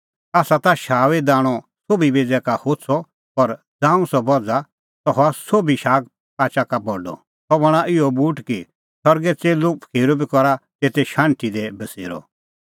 आसा ता शाऊईओ दाणअ सोभी बेज़ै का होछ़अ पर ज़ांऊं सह बझ़ा सह हआ सोभी शागपाचा का बडअ सह बणां इहअ बूट कि सरगे च़ेल्लूपखीरू बी करा तेते शाण्हटी दी बसेरअ